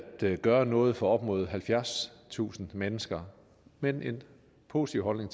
gøre noget for op imod halvfjerdstusind mennesker men en positiv holdning